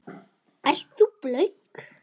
Ert þú blönk?